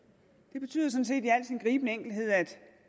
det betyder sådan set i al sin gribende enkelthed at